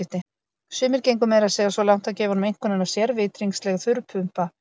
Sumir gengu meira að segja svo langt að gefa honum einkunnina sérvitringsleg þurrpumpa.